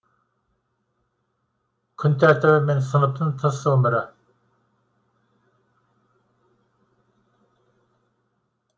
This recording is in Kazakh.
күн тәртібі мен сыныптын тыс өмірі